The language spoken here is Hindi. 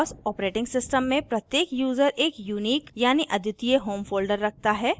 boss os में प्रत्येक यूज़र एक unique यानी अद्वितीय home folder रखता है